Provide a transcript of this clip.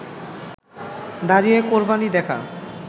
দাঁড়িয়ে কোরবানি দেখা